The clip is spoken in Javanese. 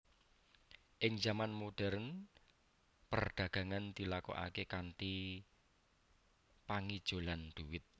Ing zaman modhèrn perdagangan dilakokaké kanthi pangijolan dhuwit